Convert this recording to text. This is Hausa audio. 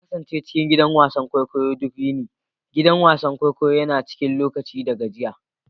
Na kasance cikin gidan wasan kwaikwayo duk yini, gidan wasan kwaikwayo yana cin lokaci da gajiya.